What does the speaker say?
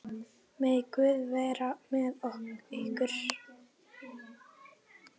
Megi Guð vera með ykkur.